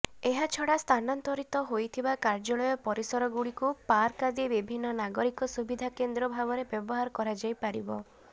ଏହାଛଡ଼ା ସ୍ଥାନାନ୍ତରିତ ହୋଇଥିବା କାର୍ଯ୍ୟାଳୟ ପରିସରଗୁଡ଼ିକୁ ପାର୍କ ଆଦି ବିଭିନ୍ନ ନାଗରିକ ସୁବିଧା କେନ୍ଦ୍ର ଭାବରେ ବ୍ୟବହାର କରାଯାଇପାରିବ